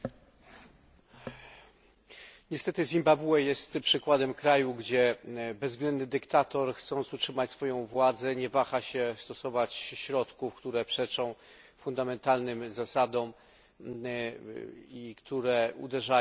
Niestety Zimbabwe jest przykładem kraju, gdzie bezwzględny dyktator, chcąc utrzymać władzę, nie waha się stosować środków, które przeczą fundamentalnym zasadom i uderzają w podstawowe prawa człowieka.